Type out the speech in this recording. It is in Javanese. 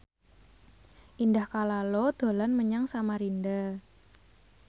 Indah Kalalo dolan menyang Samarinda